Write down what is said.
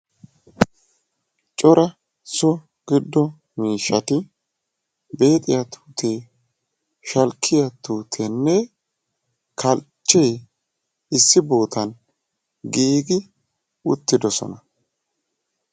Cora so gido miishshatti beexiya tuutee, shalkkiyaa tuuteene kalchchee issi bootan giigi uttidosona.